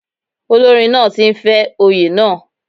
Olórin náà ti ń fẹ́ oyè náà.